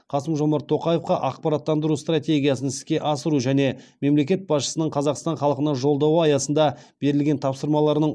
қасым жомарт тоқаевқа ақпараттандыру стратегиясын іске асыру және мемлекет басшысының қазақстан халқына жолдауы аясында берілген тапсырмаларының